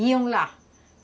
Iam lá.